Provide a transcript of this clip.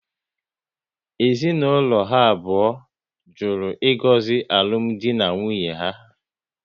Ezinaụlọ ha abụọ jụrụ ịgozi alụmdi na nwunye ha